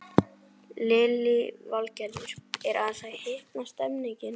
Lillý Valgerður: Er aðeins að hitna stemningin?